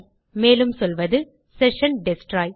மேலும் சொல்வது session destroy